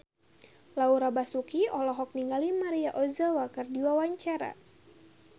Laura Basuki olohok ningali Maria Ozawa keur diwawancara